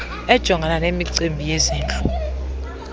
ejongana nemicimbi yezindlu